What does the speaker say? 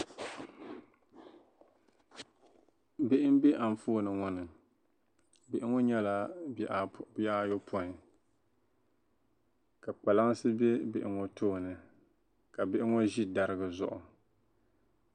bihi m-be anfooni ŋɔ ni bihi ŋɔ nyɛla bihi ayɔpɔin ka kpalansi be bihi ŋɔ tooni ka bihi ŋɔ ʒi dariga zuɣu